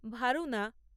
Varuna